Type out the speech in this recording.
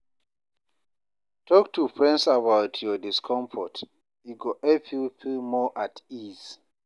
Talk to friends about your discomfort, e go help you feel more at ease.